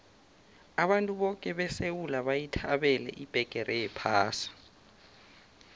abantu boke besewula bayithabela ibheqere yephasi